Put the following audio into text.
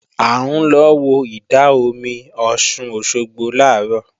À ń lọ wo ìdá-omi Ọ̀ṣun Òṣogbo làárọ̀